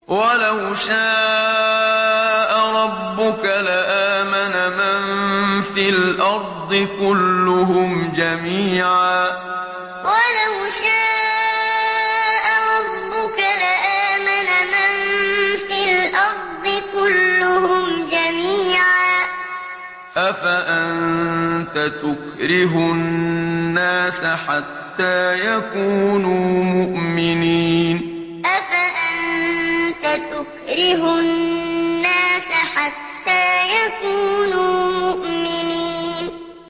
وَلَوْ شَاءَ رَبُّكَ لَآمَنَ مَن فِي الْأَرْضِ كُلُّهُمْ جَمِيعًا ۚ أَفَأَنتَ تُكْرِهُ النَّاسَ حَتَّىٰ يَكُونُوا مُؤْمِنِينَ وَلَوْ شَاءَ رَبُّكَ لَآمَنَ مَن فِي الْأَرْضِ كُلُّهُمْ جَمِيعًا ۚ أَفَأَنتَ تُكْرِهُ النَّاسَ حَتَّىٰ يَكُونُوا مُؤْمِنِينَ